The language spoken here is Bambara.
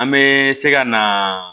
An bɛ se ka na